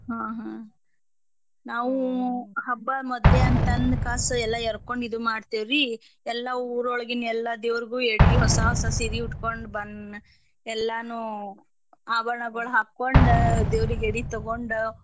ಹಾ ಹಾ ನಾವೂ ಹಬ್ಬಾ ಮೊದ್ಲೇ ಅಂತಂದ್ಕಾಸ ಎಲ್ಲಾ ಎರ್ಕೋಂಡ ಇದ ಮಾಡ್ತೇವ್ರೀ ಎಲ್ಲಾ ಊರ್ ಒಳ್ಗಿನ್ ಎಲ್ಲಾ ದೇವ್ರಿಗು ಎಡಿ ಹೊಸ ಹೊಸ ಸೀರಿ ಉಟ್ಕೊ ಬಂದ್ ಎಲ್ಲಾರ್ನೂ ಆಭರಣಗಳ್ ಹಾಕೊಂಡ ದೇವ್ರೀಗ್ ಎಡಿ ತಗೊಂಡ.